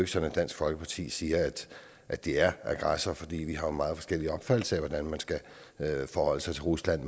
sådan at dansk folkeparti siger at de er aggressor fordi vi har meget forskellige opfattelser af hvordan man skal forholde sig til rusland